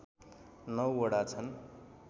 ९ वडा छन्